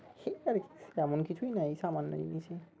সেই আর তেমন কিছুই নই এই সামান্য জিনিসই